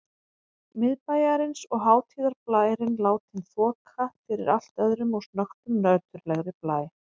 Miðbæjarins og hátíðarblærinn látinn þoka fyrir allt öðrum og snöggtum nöturlegri blæ.